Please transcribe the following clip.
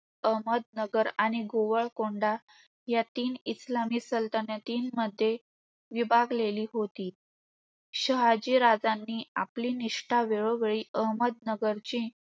अहमदनगर आणि गोवळकोंडा या तीन इस्लामी सलतनतींमध्ये विभागलेली होती. शहाजीराजांनी आपली निष्ठा वेळोवेळी अहमदनगर ची